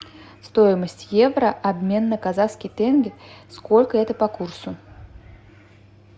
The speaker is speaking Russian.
стоимость евро обмен на казахский тенге сколько это по курсу